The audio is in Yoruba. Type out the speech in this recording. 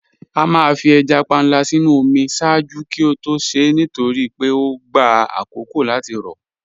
À máà fí èjá pànla sínu omi ṣáàjú kí ó tó ṣè nítorí pé ọ gbà àkókó láti rọ